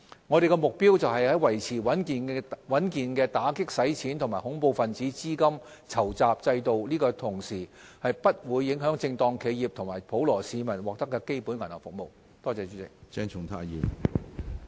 我們的目標是在維持穩健的打擊洗錢及恐怖分子資金籌集制度的同時，不會影響正當企業及普羅市民獲得基本銀行服務。